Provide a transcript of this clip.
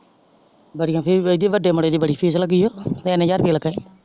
ਬੜੀਆਂ ਫੀਸ ਬਯਈਂ ਵੱਡੇ ਮੁੰਡੇ ਦੀ ਬੜੀ ਫੀਸ ਲੱਗੀ ਯੂ ਤਿਨ ਹਜ਼ਾਰ ਰੁਪਇਆ ਲੱਗਾ ਈ।